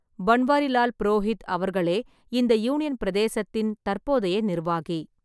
பன்வாரிலால் புரோஹித் அவர்களே இந்த யூனியன் பிரதேசத்தின் தற்போதைய நிர்வாகி.